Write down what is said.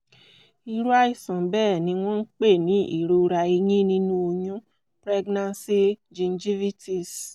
irú àìsàn bẹ́ẹ̀ ni wọ́n ń pè ní ìrora eyín nínú oyún pregnancy gingivitis